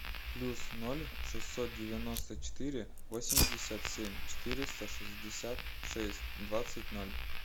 плюс ноль шестьсот девяносто четыре восемьдесят семь четыреста шестьдесят шесть двадцать ноль